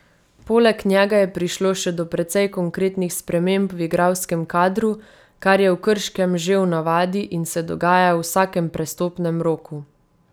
Poleg njega je prišlo še do precej konkretnih sprememb v igralskem kadru, kar je v Krškem že v navadi in se dogaja v vsakem prestopnem roku.